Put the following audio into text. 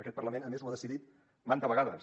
aquest parlament a més ho ha decidit manta vegades